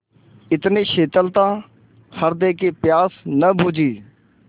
इतनी शीतलता हृदय की प्यास न बुझी